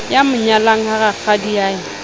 ya mo nyalang ha rakgadiae